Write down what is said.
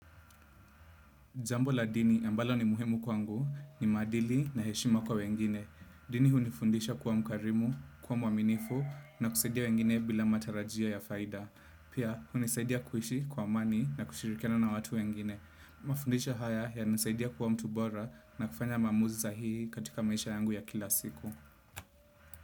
Jambo la dini ambalo ni muhemu kwangu ni maadili na heshima kwa wengine. Dini hunifundisha kuwa mkarimu, kwa mwaminifu na kusaidia wengine bila matarajio ya faida. Pia hunisaidia kuishi kwa amani na kushirikiana na watu wengine. Mafundisho haya yananisaidia kuwa mtu bora na kufanya maamuzi sahihi katika maisha yangu ya kila siku.